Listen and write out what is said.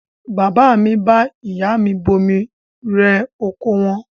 Bàbá mi bá ìyá mi bomi rẹ oko wọn.